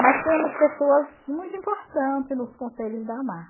Mas temos pessoas muito importantes nos conselhos da AMAR.